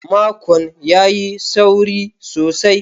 Makon ya yi sauri sosai.